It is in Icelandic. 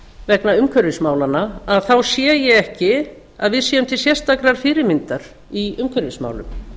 vegna umhverfismálanna þá sé ég ekki að við séum til sérstakrar fyrirmyndar í umhverfismálum